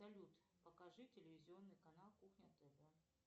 салют покажи телевизионный канал кухня тв